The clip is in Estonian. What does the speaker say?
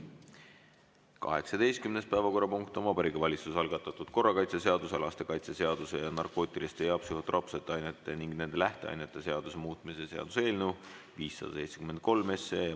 18. päevakorrapunkt on Vabariigi Valitsuse algatatud korrakaitseseaduse, lastekaitseseaduse, narkootiliste ja psühhotroopsete ainete ning nende lähteainete seaduse muutmise seaduse eelnõu 573.